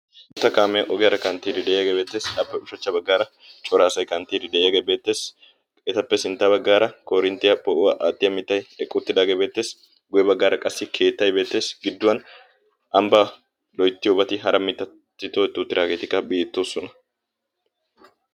Gita kaamee ogiyaara kanttidi de'iyagee beettees. Appe ushshachcha baggaara cora asay kanttidi de'iyagee beettees etappe sintta baggaara koorinttiya poo'uwa aatiya mittay eqqi uttidaagee beettees, guye baggara qassi keettaaay beettees gidduwan ambbaa lo'itiyobati hara mittati tohetti uttiraageetikka beettoosona.